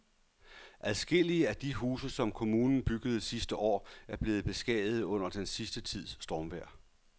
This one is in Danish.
Adskillige af de huse, som kommunen byggede sidste år, er blevet beskadiget under den sidste tids stormvejr.